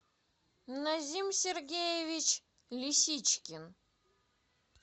назим сергеевич лисичкин